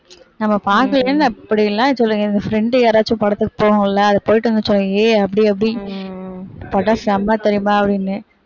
நம்ம பாக்கலையேன்னு அப்படியெல்லாம் சொல்லுங்க எங்க friend யாராச்சும் படத்துக்கு போகும்ல அது போயிட்டு அப்படி அப்படி படம் செம்ம தெரியுமா அப்படின்னு